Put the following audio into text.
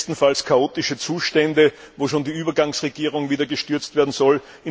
Bestenfalls chaotische Zustände, wo die Übergangsregierung schon wieder gestürzt werden soll